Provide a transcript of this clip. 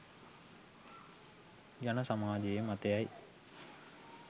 ජන සමාජයේ මතයයි.